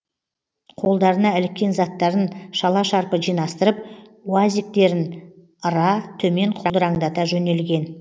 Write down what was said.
қолдарына іліккен заттарын шала шарпы жинастырып уазиктерін ыра төмен құлдыраңдата жөнелген